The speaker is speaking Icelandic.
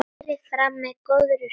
Bútur hér og bútur þar.